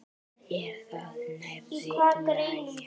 Er það nærri lagi?